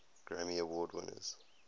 grammy award winners